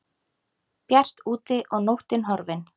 Bjart úti og nóttin horfin.